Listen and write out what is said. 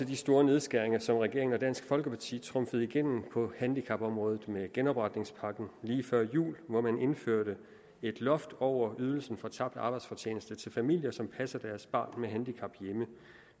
de store nedskæringer som regeringen og dansk folkeparti trumfede igennem på handicapområdet med genopretningspakken lige før jul hvor man indførte et loft over ydelsen for tabt arbejdsfortjeneste til familier som passer deres barn med handicap hjemme